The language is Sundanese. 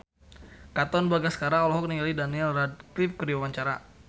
Katon Bagaskara olohok ningali Daniel Radcliffe keur diwawancara